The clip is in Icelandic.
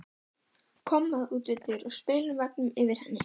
Kommóða út við dyr og spegillinn á veggnum yfir henni.